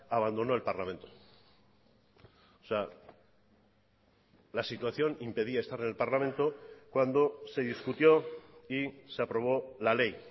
abandonó el parlamento la situación impedía estar en el parlamento cuando se discutió y se aprobó la ley